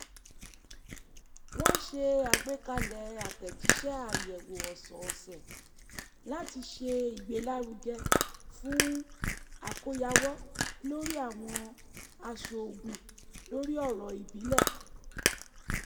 wọn ṣe àgbékalẹ̀ àtẹ̀jíṣẹ́ àyẹ̀wò ọ̀sọ̀ọ̀sẹ̀ láti ṣe ìgbẹ́lárugẹ fún àkóyawọ̀ lórí àwọn àsọgún lórí ọ̀rọ̀ ìbílẹ̀